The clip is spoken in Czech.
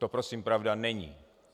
To prosím pravda není.